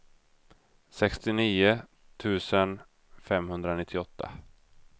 sextionio tusen femhundranittioåtta